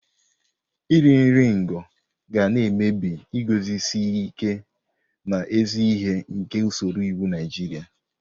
Nri iri ngo ga na-emebi iguzosi ike n'ezi ihe nke usoro iwu Naijiria.